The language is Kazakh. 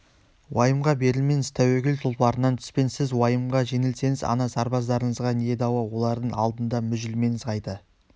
уайымға берілмеңіз тәуекел тұлпарынан түспеңіз сіз уайымға жеңілсеңіз ана сарбаздарыңызға не дауа олардың алдында мүжілмеңіз қайта